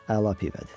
Əla pivədir.